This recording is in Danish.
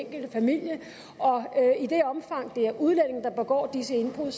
enkelte familie og i det omfang at det er udlændinge der begår disse indbrud